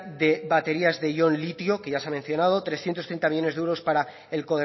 de baterías de ion litio que ya se ha mencionado trescientos treinta millónes de euros para el